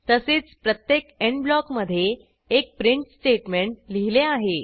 तसेच प्रत्येक एंड ब्लॉकमधे एक प्रिंट स्टेटमेंट लिहिले आहे